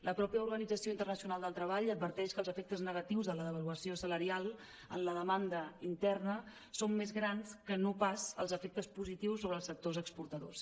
la mateixa organització in·ternacional del treball adverteix que els efectes negatius de la devaluació salarial en la demanda interna són més grans que no pas els efectes positius sobre els sec·tors exportadors